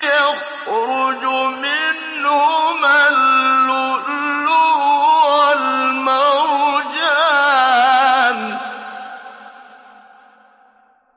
يَخْرُجُ مِنْهُمَا اللُّؤْلُؤُ وَالْمَرْجَانُ